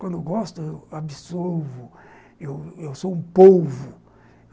Quando eu gosto, eu absolvo, eu eu sou um polvo.